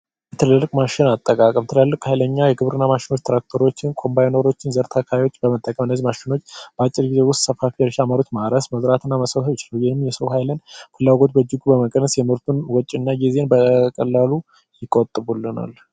ትልልቅ ማሽን አጠቃቀም ትላልቅ ኃይለኛ ማሸኖች ትራክተሮችን፣ ኮምባይነሮችን በመጠቀም እነዚህ ማሽኖች በአጭር ጊዜ ውስጥ ሰፋፊ የመሬት እርሻን መዝራትና መሰብሰብ ይችላሉ። ይህም የሰው ኃይልን ፍላጎት በእጅጉ በመቀነስ የምርቱን ወጪና ጊዜ በቀላሉ ይቆጥቡልናል።